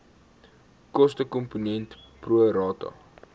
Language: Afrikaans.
kostekomponent pro rata